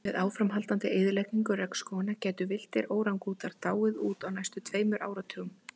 Með áframhaldandi eyðingu regnskóganna gætu villtir órangútanar dáið út á næstu tveimur áratugum.